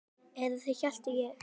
Eða það hélt ég!